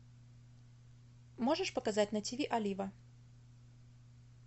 можешь показать на тв олива